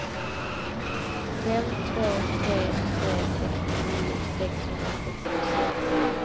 fem två tre tre sextionio sexhundrasextiosex